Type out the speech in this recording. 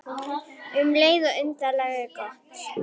Og um leið svo undarlega gott.